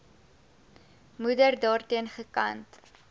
moeder daarteen gekant